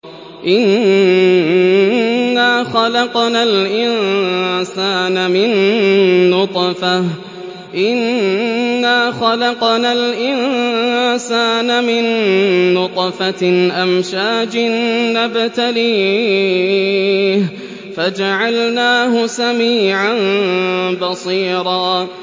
إِنَّا خَلَقْنَا الْإِنسَانَ مِن نُّطْفَةٍ أَمْشَاجٍ نَّبْتَلِيهِ فَجَعَلْنَاهُ سَمِيعًا بَصِيرًا